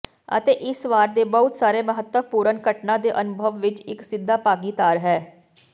ਅਤੇ ਇਸ ਵਾਰ ਦੇ ਬਹੁਤ ਸਾਰੇ ਮਹੱਤਵਪੂਰਨ ਘਟਨਾ ਦੇ ਅਨੁਭਵ ਵਿੱਚ ਇੱਕ ਸਿੱਧਾ ਭਾਗੀਦਾਰ ਹੈ